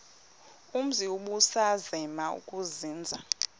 umzi ubusazema ukuzinza